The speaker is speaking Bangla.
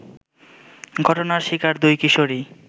ঘটনার শিকার দুই কিশোরী